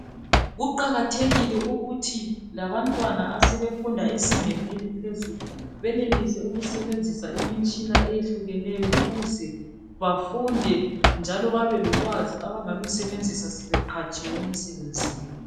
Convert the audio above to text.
Kuqakathekile ukuthi labantwana asebefunda ezingeni eliphezulu benelise ukusebenzisa imitshina eyehlukeneyo ukuze bafunde njalo babelolwazi abangalusebenzisa sebeqhatshiwe emisebenzini.